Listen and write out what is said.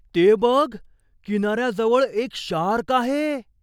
ते बघ! किनाऱ्याजवळ एक शार्क आहे!